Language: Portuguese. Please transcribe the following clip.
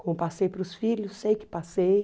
Como passei para os filhos, sei que passei.